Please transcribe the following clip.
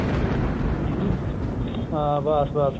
ਹਾਂ ਬੱਸ ਬੱਸ